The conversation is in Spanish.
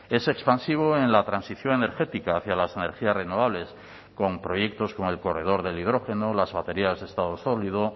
es expansivo en la transición energética hacia las energías renovables con proyectos como el corredor del hidrógeno las baterías de estado sólido